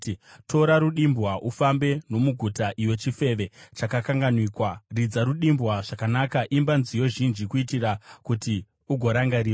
“Tora rudimbwa, ufambe nomuguta, iwe chifeve chakakanganikwa; ridza rudimbwa zvakanaka, imba nziyo zhinji, kuitira kuti ugorangarirwa.”